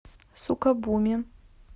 сукабуми